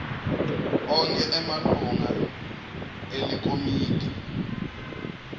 onkhe emalunga elikomidi